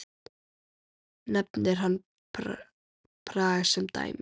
Nefnir hann Prag sem dæmi.